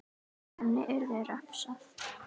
Henni yrði refsað.